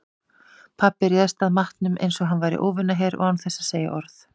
Pabbi réðst að matnum einsog hann væri óvinaher og án þess að segja orð.